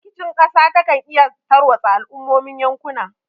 Rikicin kasa da kan iyaka ya tarwatsa al'ummomin yankuna.